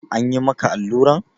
An yi maka alluran?